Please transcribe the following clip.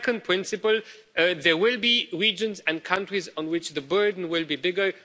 The second principle there will be regions and countries on which the burden will be bigger.